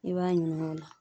I b'a ɲining'o la